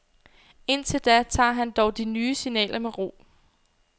Indtil da tager han dog de nye signaler med ro.